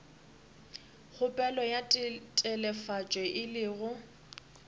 kgopelo ya telefatšo e lego